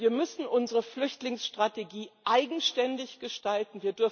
Wir müssen unsere Flüchtlingsstrategie eigenständig gestalten.